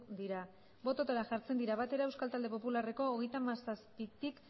dira bototara jartzen dira batera euskal talde popularreko hogeita hamazazpitik